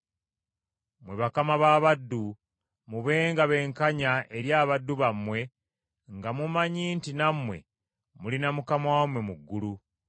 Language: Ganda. Mmwe bakama b’abaddu, mubenga benkanya eri abaddu bammwe nga mumanyi nti nammwe mulina Mukama wammwe mu ggulu.